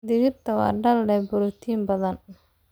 Digirta waa dal leh borotiin badan.